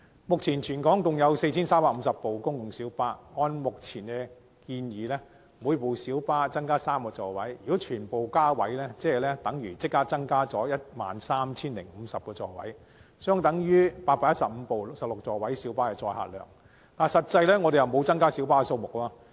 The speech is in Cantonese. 目前，全港共有 4,350 輛公共小巴，按照現時建議，每輛小巴將會增加3個座位，如果全部小巴都增加座位，便等於增加 13,050 個座位，相等於815輛16座位小巴的載客量，但實際上沒有增加小巴數目。